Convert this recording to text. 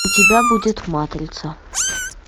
у тебя будет матрица